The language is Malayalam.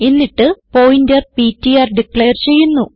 എന്നിട്ട് പോയിന്റർ പിടിആർ ഡിക്ലയർ ചെയ്യുന്നു